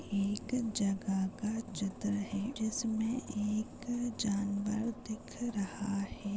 एक जगह का चित्र है जिसमें एक जानवर दिख रहा है।